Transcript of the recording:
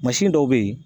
Mansin dɔw bɛ yen